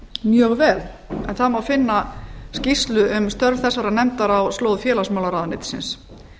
mjög vel en það má finna skýrslu um störf þessarar nefndar á slóð félagsmálaráðuneytisins